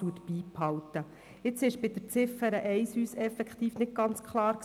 Etwas war uns bei Ziffer 1 effektiv nicht ganz klar.